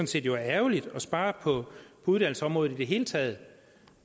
set er ærgerligt at spare på uddannelsesområdet i det hele taget